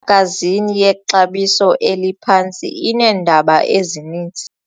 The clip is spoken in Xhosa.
gazini yexabiso eliphantsi ineendaba ezininzi.